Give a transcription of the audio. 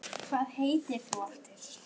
Hvað heitir þú aftur?